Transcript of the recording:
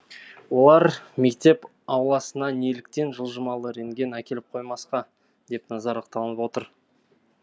олар мектеп ауласына неліктен жылжымалы рентген әкеліп қоймасқа деп наразылық танытып отыр